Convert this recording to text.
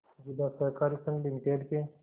जिला सहकारी संघ लिमिटेड के